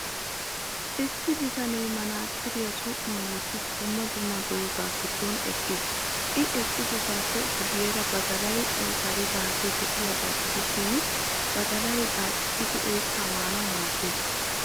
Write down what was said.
Issi bitanee manaxiriyaa som''uwan wottidi dumma dumma dozaa giddon eqqiis. I eqqosaappe guyyeera badalay aysaaridaagee de'iyaagaa gidishin, badalay gaaccissidi oyttaa maanawu maaddees.